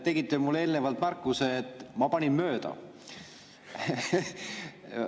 Tegite mulle eelnevalt märkuse, et ma panin mööda.